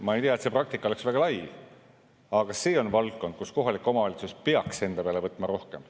Ma ei tea, et see praktika oleks väga levinud, aga see on valdkond, kus kohalik omavalitsus peaks enda peale võtma rohkem.